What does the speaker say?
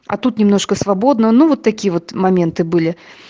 а тут немножко свободно ну вот такие вот моменты были